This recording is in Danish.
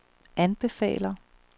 anbefaler